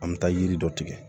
An bɛ taa yiri dɔ tigɛ